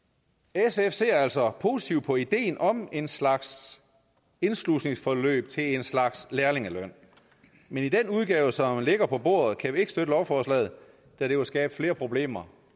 sf ser altså positivt på ideen om en slags indslusningsforløb til en slags lærlingeløn men i den udgave som ligger på bordet kan vi ikke støtte lovforslaget da det vil skabe flere problemer